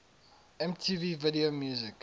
mtv video music